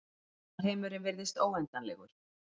Alheimurinn virðist óendanlegur.